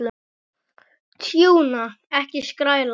Tjúna, ekki skræla.